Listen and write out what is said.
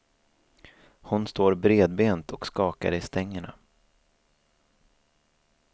Hon står bredbent och skakar i stängerna.